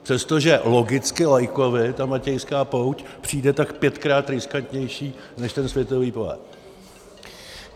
Přestože logicky laikovi ta Matějská pouť přijde tak pětkrát riskantnější než ten světový pohár.